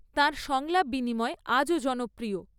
তাঁর সংলাপ বিনিময় আজও জনপ্রিয়।